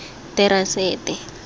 terasete